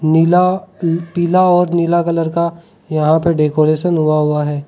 नीला पी पिला और नीला कलर का यहाँ पे डेकोरेशन हुआ हुआ है।